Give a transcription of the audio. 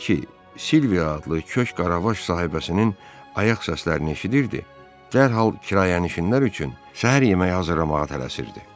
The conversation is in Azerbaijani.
Elə ki, Silvia adlı kök Qaravaş sahibəsinin ayaq səslərini eşidirdi, dərhal kirayənişinlər üçün səhər yeməyi hazırlamağa tələsirdi.